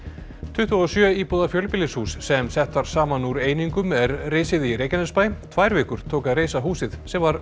tuttugu og sjö íbúða fjölbýlishús sem sett var saman úr einingum er risið í Reykjanesbæ tvær vikur tók að reisa húsið sem var